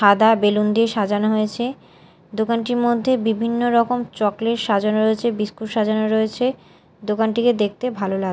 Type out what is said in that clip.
সাদা বেলুন দিয়ে সাজানো হয়েছে দোকানটির মধ্যে বিভিন্ন রকম চকলেট সাজানো রয়েছে বিস্কুট সাজানো রয়েছে দোকানটিকে দেখতে ভালো লাগ--